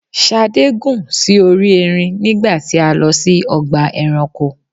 Ṣadé gùn sí orí ẹrin nígbà tí a lọ sí ọgbà ẹranko.